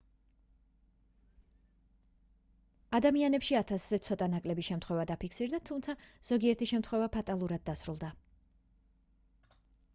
ადამიანებში ათასზე ცოტა ნაკლები შემთხვევა დაფიქსირდა თუმცა ზოგიერთი შემთხვევა ფატალურად დასრულდა